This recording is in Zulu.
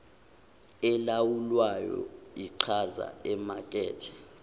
elawulwayo ichaza imakethe